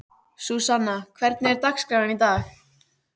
Súsanna, hvernig er dagskráin í dag?